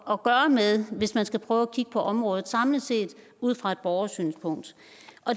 at gøre med hvis man skulle prøve at kigge på området samlet set ud fra et borgersynspunkt